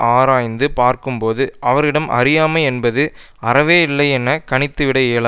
ஆராய்ந்து பார்க்கும்போது அவரிடம் அறியாமை என்பது அறவே இல்லை என கணித்துவிட இயலா